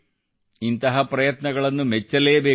ಇಂತಹ ಪ್ರಯತ್ನಗಳನ್ನು ಮೆಚ್ಚಲೇ ಬೇಕು